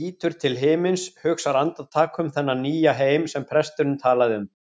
lítur til himins, hugsar andartak um þennan nýja heim sem presturinn talaði um.